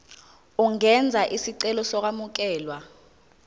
ungenza isicelo sokwamukelwa